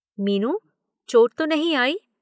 मीनू, चोट तो नहीं आई